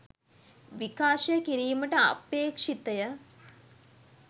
විකාශය කිරීමට අපේක්ෂිතය.